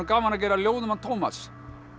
gaman að gera ljóð um Tómas